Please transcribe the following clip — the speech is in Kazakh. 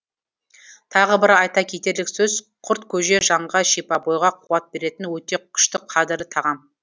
тағы бір айта кетерлік сөз құрткөже жанға шипа бойға қуат беретін өте күшті қадірлі тағам